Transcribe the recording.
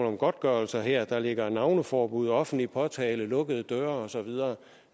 om godtgørelse her der ligger navneforbud offentlig påtale lukkede døre og så videre